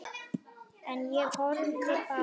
En ég horfði bara.